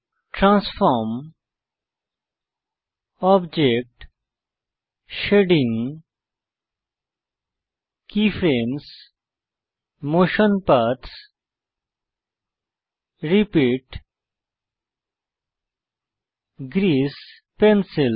transform object shading keyframes motion paths repeat grease pencil